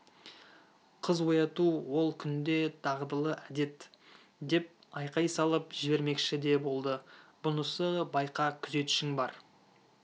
қыз ояту ол күнде дағдылы әдет деп айқай салып жібермекші де болды бұнысы байқа күзетшің бар